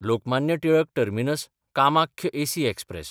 Lokmanya Tilak टर्मिनस–कामाख्य AC express